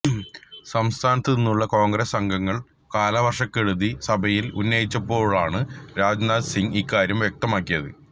സംസ്ഥാനത്തു നിന്നുള്ള കോണ്ഗ്രസ് അംഗങ്ങള് കാലവര്ക്ഷക്കെടുതി സഭയില് ഉന്നയിച്ചപ്പോഴാണ് രാജ്നാഥ് സിങ് ഇക്കാര്യം വ്യക്തമാക്കിയത്